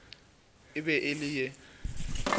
e be e le ye